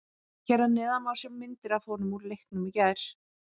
Hér að neðan má sjá myndir af honum úr leiknum í gær.